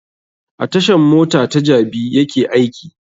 A tashan mota ta jabi yake aiki